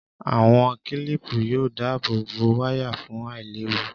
Àwọn kílìpù yóò dáàbò bo wáyà fún àìléwu